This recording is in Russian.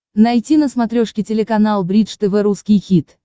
найти на смотрешке телеканал бридж тв русский хит